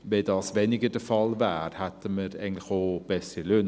Wäre das weniger der Fall, hätten wir eigentlich auch bessere Löhne.